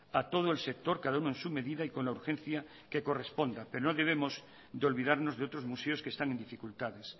a todo el sector cada uno en su medida y con la urgencia que corresponda pero no debemos de olvidarnos de otros museos que están en dificultades